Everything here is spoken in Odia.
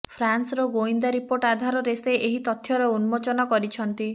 ଫ୍ରାନ୍ସର ଗୋଇନ୍ଦା ରିପୋର୍ଟ ଆଧାରରେ ସେ ଏହି ତଥ୍ୟର ଉନ୍ମୋଚନ କରିଛନ୍ତି